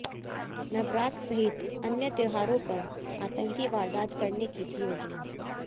नवरात्र सहित अन्य त्योहारों पर आतंकी वारदात करने की थी योजना